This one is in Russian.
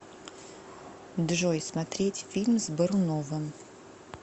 джой смотреть фильм с боруновым